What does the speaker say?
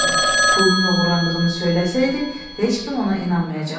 Pulunun oğurlandığını söyləsəydi, heç kim ona inanmayacaqdı.